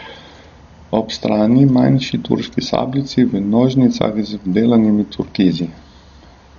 Ob strani manjši turški sabljici v nožnicah z vdelanimi turkizi.